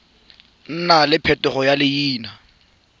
nna le phetogo ya leina